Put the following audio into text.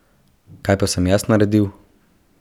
Kaj sem pa jaz naredil?